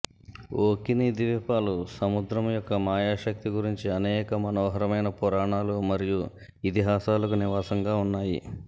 ఓక్కినీ ద్వీపాలు సముద్రం యొక్క మాయా శక్తి గురించి అనేక మనోహరమైన పురాణాలు మరియు ఇతిహాసాలకు నివాసంగా ఉన్నాయి